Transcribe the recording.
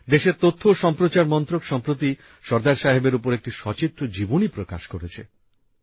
দেশের তথ্য ও সম্প্রচার মন্ত্রক সম্প্রতি সর্দার সাহেবের উপর একটি সচিত্র জীবনী প্রকাশ করেছে